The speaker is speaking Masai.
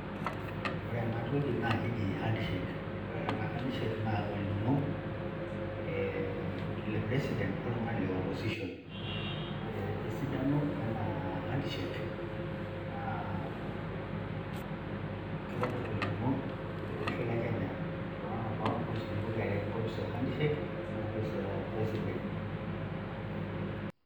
Ore enatoki na keji handshake. Ore taata handshake na olning'o eh le president oltung'ani le opposition. Ore esidano ena handshake, naa kitobir olning'o tolosho le Kenya, tonana kopisini pokira are, enkopis e handshake enkopis e president.